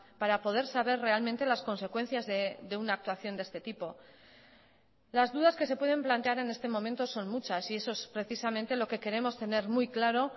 para poder saber realmente las consecuencias de una actuación de este tipo las dudas que se pueden plantear en este momento son muchas y eso es precisamente lo que queremos tener muy claro